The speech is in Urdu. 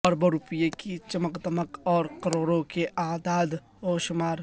اربوں روپے کی چمک دمک اور کروڑوں کے اعداد و شمار